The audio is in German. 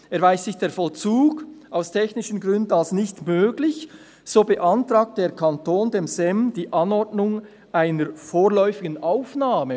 «Erweist sich der Vollzug aus technischen Gründen als nicht möglich, so beantragt der Kanton dem SEM die Anordnung einer vorläufigen Aufnahme.